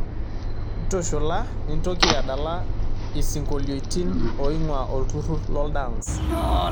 ntushula nintoki adala isingolioitin oing'uaa olturur loldance